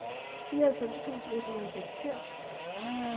fireoghalvfems tusind et hundrede og seksogfirs